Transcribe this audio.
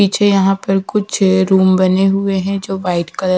पीछे यहां पर कुछ रूम बने हुए हैं जो व्हाइट कलर --